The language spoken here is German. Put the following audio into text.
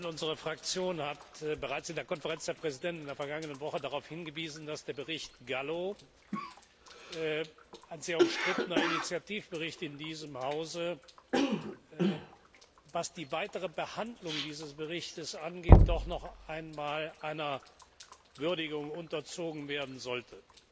Unsere Fraktion hat bereits in der Konferenz der Präsidenten in der vergangenen Woche darauf hingewiesen, dass der Bericht Gallo ein sehr umstrittener Initiativbericht in diesem Hause was seine weitere Behandlung angeht, doch noch einmal einer Würdigung unterzogen werden sollte.